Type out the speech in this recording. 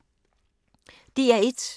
DR1